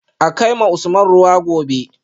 A kai ma Usman ruwa yanzu